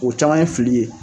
O caman ye fili ye